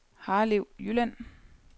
Harlev Jylland